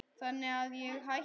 Þannig að ég hætti.